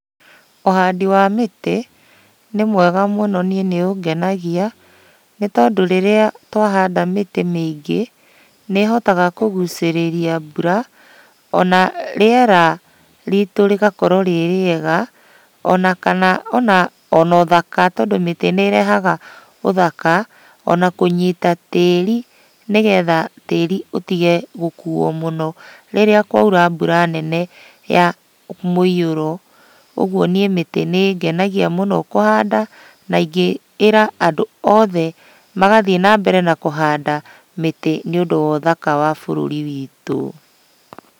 Ũhandi wa mĩtĩ, nĩ mwega mũno niĩ nĩũngenagia, nĩtondũ rĩrĩa twahanda mĩtĩ mĩingĩ, nĩĩhotaga kũgucĩrĩria mbura, ona rĩera ritũ rĩgakorwo rĩ rĩega, ona kana ona ona ũthaka tondũ mĩtĩ nĩĩrehaga ũthaka, ona kũnyita tĩri nĩgetha tĩri ũtige gũkuo mũno rĩrĩa kwaura mbura nene ya mũiyũro. Ũguo niĩ mĩtĩ nĩĩngenagia mũno kũhanda, na ingĩĩra andũ othe magathiĩ nambere na kũhanda mĩtĩ nĩũndũ wa ũthaka wa bũrũri witũ.